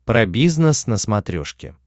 про бизнес на смотрешке